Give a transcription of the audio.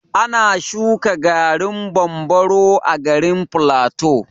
Ana shuƙa garin bambaro a garin plateau.